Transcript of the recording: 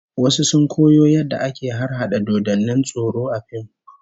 Wasu sun koyo yadda ake harhada dodannin tsoro A fim